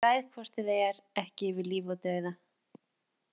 Ég ræð hvort eð er ekki yfir lífi og dauða.